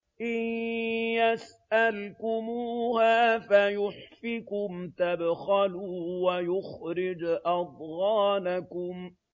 إِن يَسْأَلْكُمُوهَا فَيُحْفِكُمْ تَبْخَلُوا وَيُخْرِجْ أَضْغَانَكُمْ